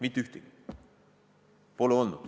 Mitte ühtegi!